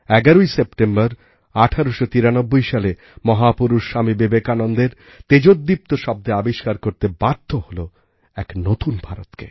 ১১সেপ্টেম্বর ১৮৯৩সালে মহাপুরুষ স্বামী বিবেকানন্দের তেজোদ্দীপ্ত শব্দে আবিষ্কার করতে বাধ্য হলএক নতুন ভারতকে